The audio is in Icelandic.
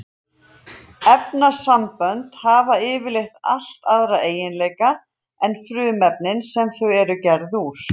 Efnasambönd hafa yfirleitt allt aðra eiginleika en frumefnin sem þau eru gerð úr.